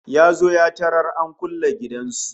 Ya zo ya tarar an kulle gidan su